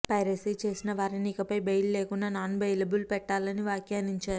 piracy చేసిన వారిని ఇక పై బెయిల్ లేకుండా నాన్ బెయిలబుల్ పెట్టాలి అని వ్యాఖ్యానించారు